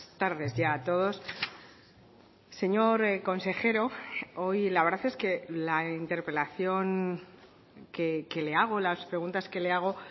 tardes ya a todos señor consejero hoy la verdad es que la interpelación que le hago las preguntas que le hago